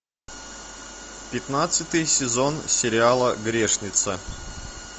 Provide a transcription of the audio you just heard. пятнадцатый сезон сериала грешница